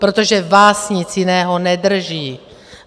Protože vás nic jiného nedrží.